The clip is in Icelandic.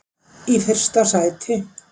í fyrsta sæti.